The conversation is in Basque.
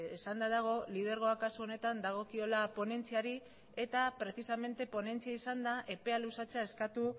esanda dago lidergoa kasu honetan dagokiola ponentziari eta precisamente ponentzia izanda epea luzatzea eskatu